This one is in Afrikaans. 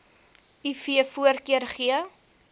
iv voorkeur gee